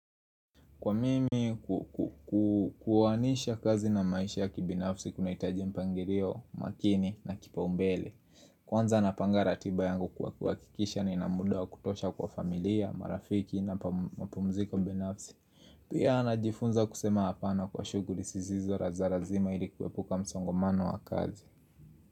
Kwa mimi kuwanisha kazi na maisha ya kibinafsi kunahitaji mpangirio, makini na kipaumbele Kwanza napanga ratiba yangu kwa kuhakikisha nina muda wa kutosha kwa familia, marafiki na mapumziko binafsi Pia najifunza kusema hapana kwa shughuli sizizo za razima ili kuepuka msongomano wa kazi.